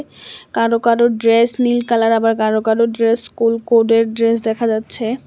কারো কারো ড্রেস নীল কালার আবার কারো কারো ড্রেস স্কুল কোডের ড্রেস দেখা যাচ্ছে।